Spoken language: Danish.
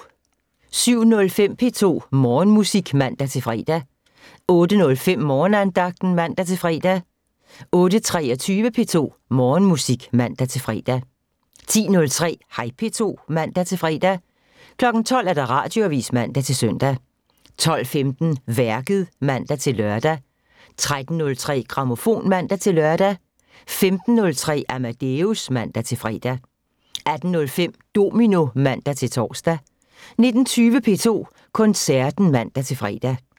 07:05: P2 Morgenmusik (man-fre) 08:05: Morgenandagten (man-fre) 08:23: P2 Morgenmusik (man-fre) 10:03: Hej P2 (man-fre) 12:00: Radioavisen (man-søn) 12:15: Værket (man-lør) 13:03: Grammofon (man-lør) 15:03: Amadeus (man-fre) 18:05: Domino (man-tor) 19:20: P2 Koncerten (man-fre)